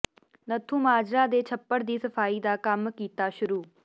ਨੱਥੂਮਾਜਰਾ ਦੇ ਛੱਪੜ ਦੀ ਸਫ਼ਾਈ ਦਾ ਕੰਮ ਕੀਤਾ ਸ਼ੁਰੂ